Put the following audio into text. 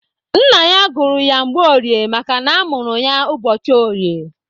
Nna ya gụrụ ya Mgborie makana a mụrụ ya ụbọchị orie.